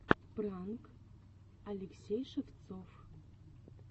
пранк алексей шевцов